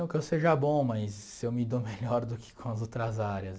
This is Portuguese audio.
Não que eu seja bom, mas eu me dou melhor do que com as outras áreas.